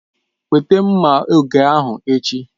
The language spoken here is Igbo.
Weta mma oge ahu echi!